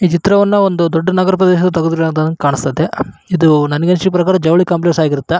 ಈ ಚಿತ್ರವನ್ನು ದೊಡ್ಡ ನಗರ ಪ್ರದೇಶದಲ್ಲಿ ತೆಗೆದಿದ್ದು ಅಂತ ಕಾಣಿಸ್ತಾಯಿತೇ ಇದು ನನಗ್ ಅನ್ಸಿದ್ ಪ್ರಕಾರ ಜವಳಿ ಕಾಂಪ್ಲೆಕ್ಸ್ ಆಗಿರುತ್ತೆ.